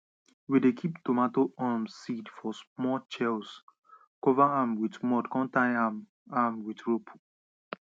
we dey kip tomato um seed for small chells cover am wit mud come tie am am wit rope